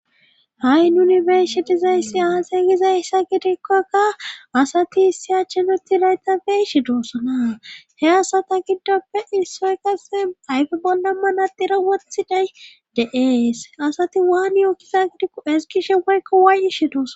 ha7i nuni beyishe dizayssi aasay gizayssa gidikkokka asati issi achenuti layta beeshe doossana he asata giddoppe issoy kase ayfe bolla manadira wothiday de7ees asati waani yookkiza gidikko esigishe poykko waayishe doosa